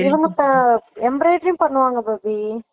இவங்க இப்ப embroidery பண்ணுவாங்க கோபி